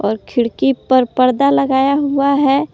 खिड़की पर पर्दा लगाया हुआ है।